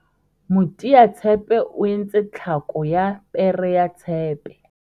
moteatshepe o entse tlhako ya pere ya tshepe